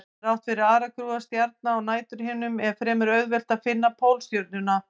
Þrátt fyrir aragrúa stjarna á næturhimninum er fremur auðvelt að finna Pólstjörnuna.